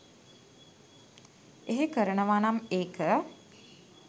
එහෙ කරනවනම් ඒක